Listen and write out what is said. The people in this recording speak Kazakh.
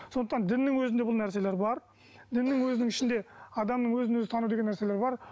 сондықтан діннің өзінде бұл нәрселер бар діннің өзінің ішінде адамның өзін өзі тану деген нәрселер бар